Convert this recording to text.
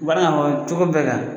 U b'a dɔn ka fɔ cogo bɛɛ kan.